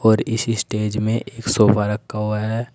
और इस स्टेज में एक सोफा रखा हुआ है।